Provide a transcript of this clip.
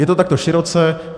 Je to takhle široce.